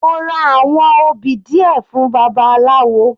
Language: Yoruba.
Mo ra àwọn obì díẹ̀ fún babaláwo.